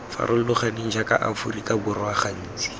farologaneng jaaka aforika borwa gantsi